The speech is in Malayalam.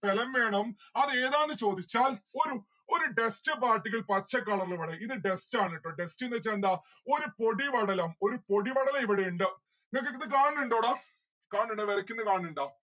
സ്ഥലം വേണം. അതേതാന്ന് ചോദിച്ചാൽ ഒരു ഒരു dust particle പച്ച colour ല് ഇത് dust ആണ് ട്ടോ dust ന്ന്‌ വെച്ച എന്താ? ഒരു പൊടിപടലം ഒരു പൊടിപടലം ഇവിടെ ഇണ്ട് നിങ്ങക്കിത് കാണുന്നിണ്ടോ ടാ കാണുന്നിണ്ടാ മെറിക്കിന് കാണുന്നിണ്ട